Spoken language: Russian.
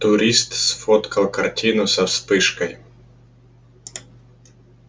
турист сфоткал картину со вспышкой